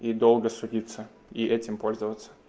и долго судиться и этим пользоваться